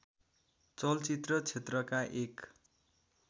चलचित्र क्षेत्रका एक